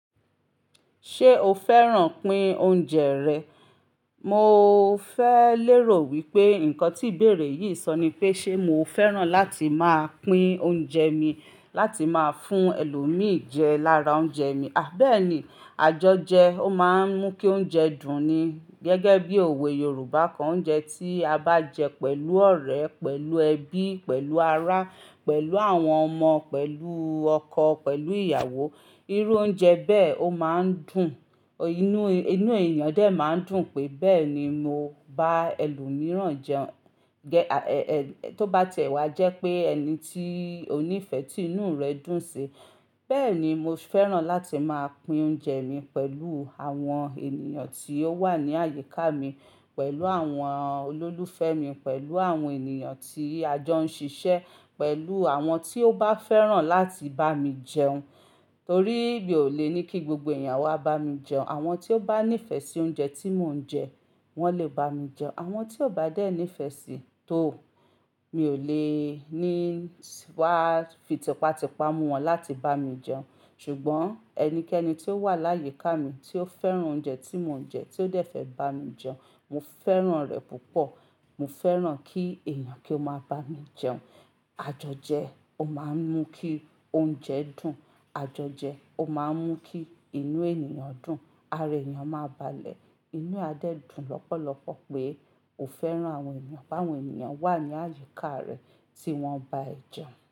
Ṣé o fẹ́ràn pín oúnjẹ rẹ̀? Mo fẹ́ lérò wípé ǹkan tí ìbéèrè yì sọ ni pé, ṣe mo fẹ́ràn láti máa pín oúnjẹ mi láti máa fún ẹlòmì jẹ lára oúnjẹ mi. À bẹ̀ẹ́ni, àjọjẹ ó máa ń mú kí oúnjẹ dùn ni. Gẹ́gẹ́ bí òwe Yorùbá kan, oúnjẹ tí a bá jẹ pẹ̀lú ọ̀rẹ́, pẹ̀lú ẹbí, pẹ̀lú ará, pẹ̀lú àwọn ọmọ, pẹ̀lú ọkọ, pẹ̀lú ìyàwó, irú oúnjẹ bẹ́ẹ̀ ó máa ń dùn. Inú, inú èyàn dé máa ń dùn pé, bẹ́ẹ̀ ni mo bá ẹlòmíràn jẹun. Tó bá ti e wá jẹ́ pé ẹni tí ó nífẹ̀ tí inú rẹ̀ dùn sí. Bẹ́ẹ̀ ni mo fẹ́ràn láti máa pín oúnjẹ mi pẹ̀lú àwọn ènìyàn tí ó wà ní àyíká mi, pẹ̀lú àwọn olólùfẹ́ mi, pẹ̀lú àwọn ènìyàn tí ajọ ń ṣiṣẹ́, pẹ̀lú àwọn tí ó bá fẹ́ràn láti bá mi jẹun. Torí mi ò lè ní kí gbogbo èyàn wá bá mi jẹun. Àwọn tí ó bá nífẹ̀ sí oúnjẹ tí mò ń jẹ, wọ́n lè bá mi jẹun. Àwọn tí ò bá dẹ́ nífẹ̀ sí tó, mi ò lè ní wá fi tipátipá mú wọn láti bá mi jẹun. Ṣùgbọ́n ẹnikẹ́ni tí ó wà láyi ká mi, tí ó fẹ́ràn oúnjẹ tí mò ń jẹ, tí ó dẹ́ fẹ́ bá mi jẹun, mo fẹ́ràn rẹ̀ púpọ̀. Mo fẹ́ràn kí èèyàn kí ó máa bá mi jẹun. Àjọjẹ ó máa ń mú kí oúnjẹ dùn, àjọjẹ ó máa ń mú kí inú ènìyàn dùn. Ara èniyàn máa balẹ̀. Inú a dẹ́ dùn lọ́pọ̀lọpọ̀ pé kò fẹ́ràn àwọn ènìyàn, bá àwọn ènìyàn wà ní àyíká rẹ̀ tí wọ́n bá jẹun.